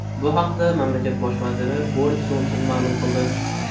Bu haqda mamlakat bosh vaziri Boris Jonson ma’lum qildi .